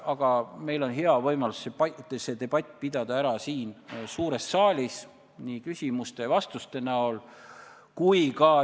Aga meil on hea võimalus pidada see debatt maha siin suures saalis nii küsimuste ja vastuste kui ka sõnavõttude kujul.